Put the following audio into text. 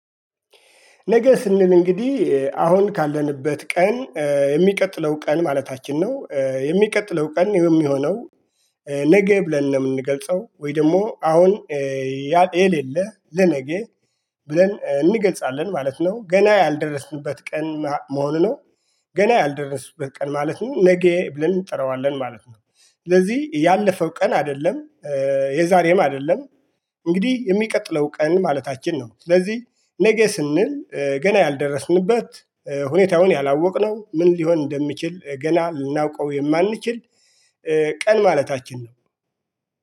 ነገ ስንል እንግዲህ አሁን ካለንበት ቀን የሚቀጥለው ቀን ማለታችን ነው የሚቀጥለው ቀን የሚሆነው ነገ ብለን ነው የምንገልጸው ወይ ደግሞ አሁን የሌሌ ለነገ ብለን እንገጻለን ማለት ነው ገና ያልደረስንበት ቀን መሆኑ ነው። ገና ያልደረስንበት ቀን ማለት ነው ነገ ብለን እንጠረዋለን ማለት ነው። ስለዚህ ያለፈው ቀን አይደለም። የዛሬም አይደለም። እንግዲህ የሚቀጥለው ቀን ማለታችን ነው። ስለዚህ ነገ ስንል ገና ያልደረስንበት ሁኔታውን ያላወቅነው ምን ሊሆን እንደሚችል ገና ልናውቀው የማንችል ቀን ማለታችን ነው